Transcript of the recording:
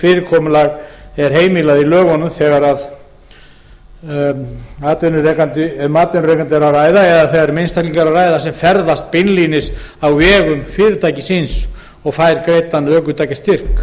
fyrirkomulag er heimilt í lögunum þegar um atvinnurekanda eða einstakling er að ræða sem ferðast beinlínis á vegum fyrirtækis síns og fær greiddan ökutækjastyrk